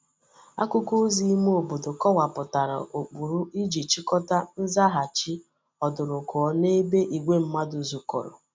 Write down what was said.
Akuko ozi ime obodo kowaputara ukpuru Iji chikota nzaghachi odurukuo n'ebe igwe mmadu zukoro.